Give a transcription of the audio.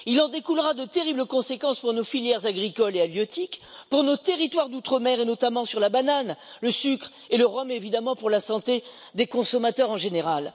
Il en découlera de terribles conséquences pour nos filières agricoles et halieutiques, pour nos territoires d'outre mer, notamment en ce qui concerne la banane, le sucre et le rhum évidemment, et pour la santé des consommateurs, en général.